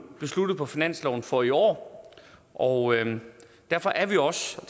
besluttet på finansloven for i år og derfor er vi også